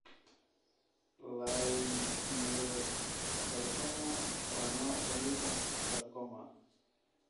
Leiomyosarcoma waa nooc ka mid ah sarcoma.